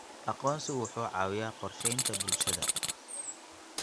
Aqoonsigu wuxuu caawiyaa qorsheynta bulshada.